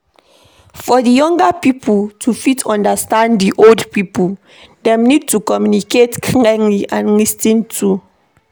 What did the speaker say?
For di younger pipo to fit understand di old pipo, dem need to communicate clearly and lis ten too